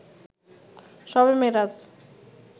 শবে মেরাজ